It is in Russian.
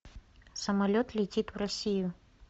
самолет летит в россию